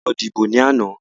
A lọ dìbò ní àná.